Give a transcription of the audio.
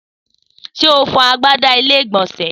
Sé o fọ agbada ilé ìgbònsè?